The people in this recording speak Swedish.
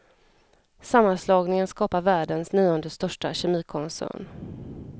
Sammanslagningen skapar världens nionde största kemikoncern.